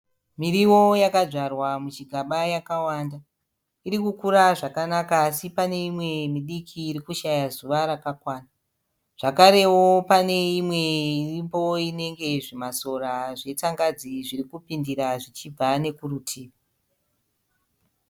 Muriwo yadzwarwa muchigaba yakawanda, irikukura zvakanaka, asi pane imwe midiki irikushaya zuva rakakwana, zvakarewo pane imwe iripo inenge zvimasora zvetsangadzi zviri kupindira zvichibva nekurutivi.